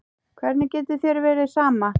Hvernig getur þér verið sama?